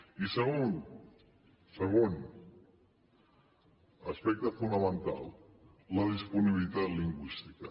i segon segon aspecte fonamental la disponibilitat lingüística